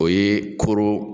O ye koro